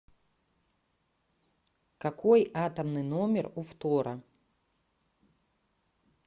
какой атомный номер у фтора